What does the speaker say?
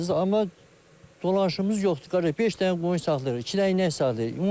Amma dolanışımız yoxdur, qardaş, beş dənə qoyun saxlayırıq, iki dənə inək saxlayırıq.